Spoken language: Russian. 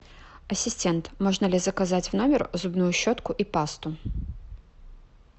ассистент можно ли заказать в номер зубную щетку и пасту